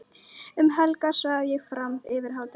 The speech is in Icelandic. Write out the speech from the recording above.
Um helgar svaf ég fram yfir hádegi.